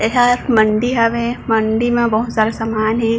ये हा एक मंडी हावे मंडी म बहुत सारा सामान हे।